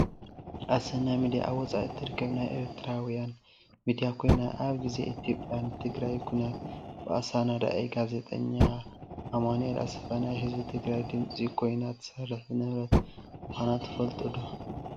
ኣሰና ሚድያ ኣብ ወፃኢ እትርከብ ናይ ኤርትራዊያን ሚድያ ኮይና፣ ኣብ ግዜ ኢትዮጵያን ትግራይን ኩናት ብኣሳናዳኢ ጋዜጠኛ ኣማኒኤል ኣሰፋ ናይ ህዝቢ ትግራይ ድምፂ ኮይና እትሰርሕ ዝነበረት ምኳና ትፈልጡ ዶ ?